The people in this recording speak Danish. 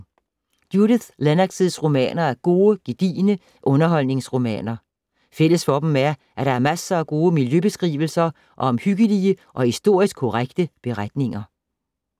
Judith Lennoxs romaner er gode, gedigne underholdningsromaner. Fælles for dem er, at der er masser af gode miljøbeskrivelser og omhyggelige og historisk korrekte beretninger.